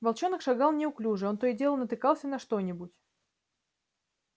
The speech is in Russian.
волчонок шагал неуклюже он то и дело натыкался на что нибудь